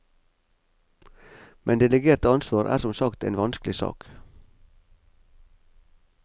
Men delegert ansvar er som sagt en vanskelig sak.